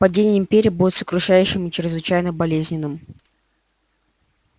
падение империи будет сокрушающим и чрезвычайно болезненным